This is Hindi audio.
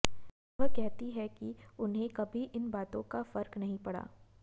वह कहती हैं कि उन्हें कभी इन बातों का फर्क नहीं पड़ा